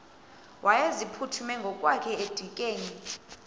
wayeziphuthume ngokwakhe edikeni